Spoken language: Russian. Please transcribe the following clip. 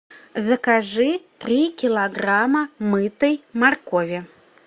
закажи три килограмма мытой моркови